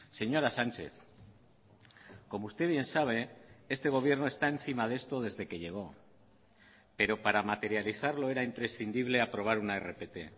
señora sánchez como usted bien sabe este gobierno está encima de esto desde que llegó pero para materializarlo era imprescindible aprobar una rpt